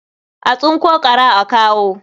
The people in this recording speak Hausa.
A tsinko ƙwara a kawo.